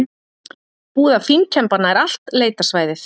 Búið að fínkemba nær allt leitarsvæðið